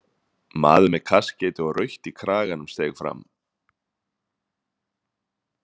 Maður með kaskeiti og rautt í kraganum steig fram.